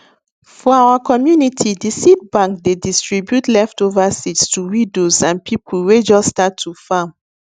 for our community the seed bank dey distribute leftover seeds to widows and people wey just start to farm